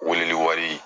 Weleli wari